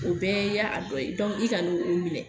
o bɛɛ y'a a dɔn dɔ ye, i kan'o o minɛ.